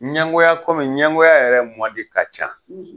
Ɲɛngoya kɔmi ɲɛngoya yɛrɛ mɔdi ka can.